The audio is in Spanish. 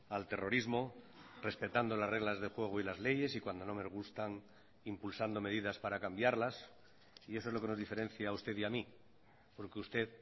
al terrorismo respetando las reglas de juego y las leyes y cuando no me gustan impulsando medidas para cambiarlas y eso es lo que nos diferencia a usted y a mi porque usted